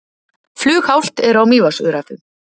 Flughált er á Mývatnsöræfum